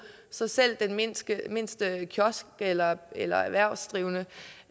så selv den mindste mindste kiosk eller eller erhvervsdrivende